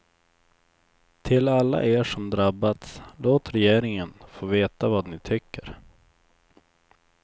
Till alla er som drabbats, låt regeringen få veta vad ni tycker.